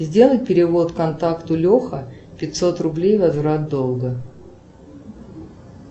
сделай перевод контакту леха пятьсот рублей возврат долга